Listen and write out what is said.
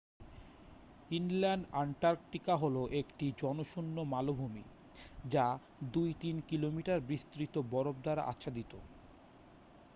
inland Antarctica হলো একটি জনশূন্য মালভূমি যা 2-3 কিলোমিটার বিস্তৃত বরফ দ্বারা আচ্ছাদিত